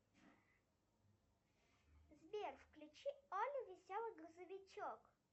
сбер включи олли веселый грузовичок